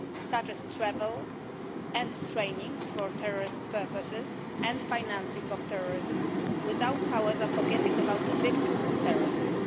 such as travel and training for terrorist purposes and financing of terrorism without, however, forgetting about the victims of terrorism.